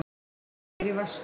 Eitthvað fer í vaskinn